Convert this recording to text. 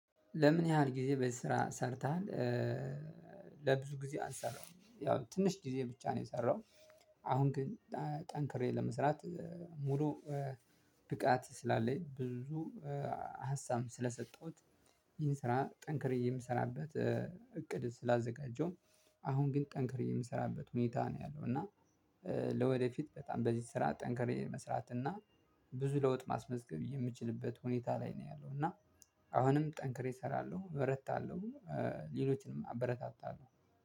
ለምን ያህል ጊዜ በዚህ ስራ ሰርተሃል? ለብዙ ጊዜ አልሰራሁም ያው ትንሽ ጊዜ ብቻ ነው የሰራሁ። አሁን ግን ጠንክሬ ለመስራት ሙሉ ብቃት ስላለኝ ብዙ ሀሳብ ስለሰጠሁት ይህን ስራ ጠንክሬ የምሰራበት እቅድ ስላዘጋጀሁ። አሁን ግን ጠንክሬ የምሰራበት ሁኔታ ነው ያለው እና ለወደፊት በጣም በዚህ ስራ ጠንክሬ መስራት እና ብዙ ለውጥ ማስመዝገብ የምችልበት ሁኔታ ላይ ነው ያለው እና አሁንም ጠንክሬ እሰራለሁ እበረታለሁ። ሌሎችንም አበረታታለሁ።